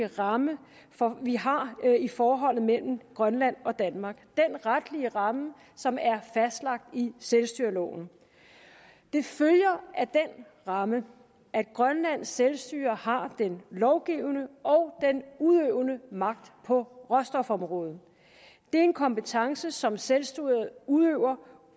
ramme vi har i forholdet mellem grønland og danmark den retlige ramme som er fastlagt i selvstyreloven det følger af den ramme at grønlands selvstyre har den lovgivende og den udøvende magt på råstofområdet det er en kompetence som selvstyret udøver